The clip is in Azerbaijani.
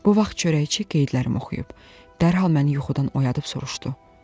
Bu vaxt çörəkçi qeydlərimi oxuyub, dərhal məni yuxudan oyadıb soruşdu: